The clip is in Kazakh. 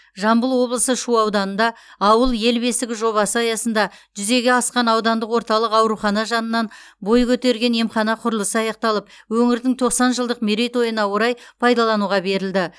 жамбыл облысы шу ауданында ауыл ел бесігі жобасы аясында жүзеге асқан аудандық орталық аурухана жанынан бой көтерген емхана құрылысы аяқталып өңірдің тоқсан жылдық мерейтойына орай пайдалануға берілді